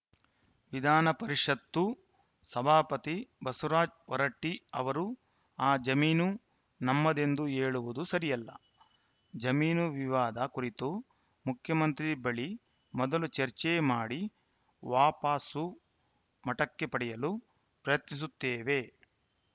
ವಿಧಾನ ಪರಿಷತ್ತು ಸಭಾಪತಿ ಬಸವರಾಜ ಹೊರಟ್ಟಿಅವರು ಆ ಜಮೀನು ನಮ್ಮದೆಂದು ಹೇಳುವುದು ಸರಿಯಲ್ಲ ಜಮೀನು ವಿವಾದ ಕುರಿತು ಮುಖ್ಯಮಂತ್ರಿ ಬಳಿ ಮೊದಲು ಚರ್ಚೆ ಮಾಡಿ ವಾಪಾಸು ಮಠಕ್ಕೆ ಪಡೆಯಲು ಪ್ರಯತ್ನಿಸುತ್ತೇವೆ